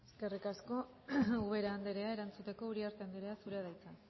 eskerrik asko ubera andrea erantzuteko uriarte andrea zurea da hitza